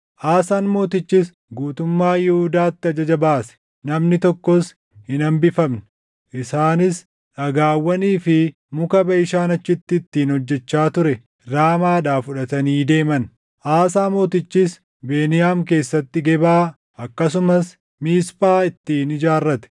Aasaan mootichis guutummaa Yihuudaatti ajaja baase; namni tokkos hin hambifamne; isaanis dhagaawwanii fi muka Baʼishaan achitti ittiin hojjechaa ture Raamaadhaa fudhatanii deeman. Aasaa mootichis Beniyaam keessatti Gebaa, akkasumas Miisphaa ittiin ijaarrate.